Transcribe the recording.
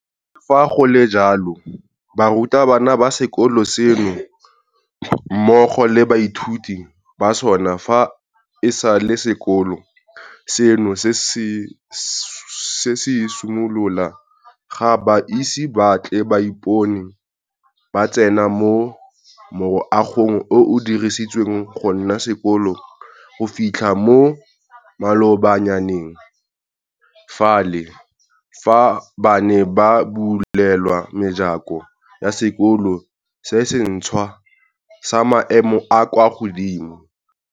Le fa go le jalo, barutabana ba sekolo seno mmogo le baithuti ba sona fa e sale sekolo seno se simolola ga ba ise ba tle ba ipone ba tsena mo moagong o o diretsweng gonna sekolo go fitlha mo malobanyaneng fale, fa bane ba bulelwa mejako ya sekolo se sentšhwa sa maemo a a kwa godimo.